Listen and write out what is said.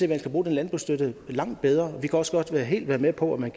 at man skal bruge den landbrugsstøtte langt bedre vi kan også godt være helt med på at man